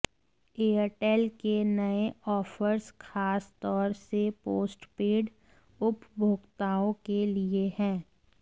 Airtel के नए offers खासतौर से पोस्टपेड उपभोक्ताओं के लिए हैं